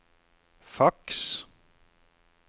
faks